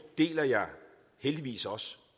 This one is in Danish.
deler jeg heldigvis også